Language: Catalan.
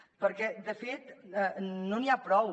perquè de fet no n’hi ha prou